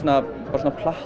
svona platform